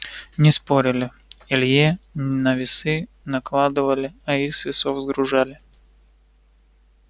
не спорили илье на весы накладывали а их с весов сгружали